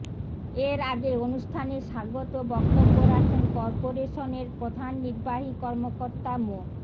এর আগে অনুষ্ঠানে স্বাগত বক্তব্য রাখেন করপোরেশনের প্রধান নির্বাহী কর্মকর্তা মো